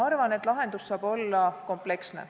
Arvan, et lahendus saab olla kompleksne.